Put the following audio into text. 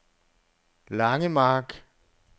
Langemark